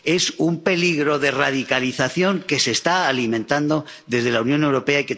Es un peligro de radicalización, que se está alimentando desde la Unión Europea.